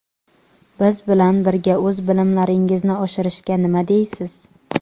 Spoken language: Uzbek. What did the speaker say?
biz bilan birga o‘z bilimlaringizni oshirishga nima deysiz?.